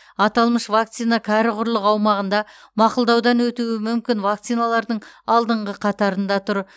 аталмыш вакцина кәрі құрлық аумағында мақұлдаудан өтуі мүмкін вакциналардың алдыңғы қатарында тұр